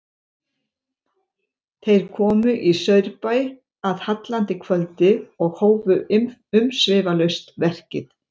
Þeir komu í Saurbæ að hallandi kvöldi og hófu umsvifalaust verkið.